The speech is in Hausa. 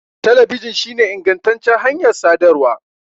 Talabijin shine ingantaccen hanyar sadarwa.